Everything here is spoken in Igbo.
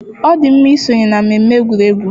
Ọ dị mma isonye na mmemme egwuregwu.